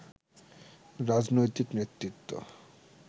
রাজনৈতিক নেতৃত্ব